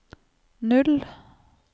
null